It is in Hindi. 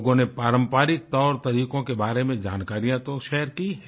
लोगों ने पारंपरिक तौरतरीकों के बारे में जानकारियाँ तो शेयर की हैं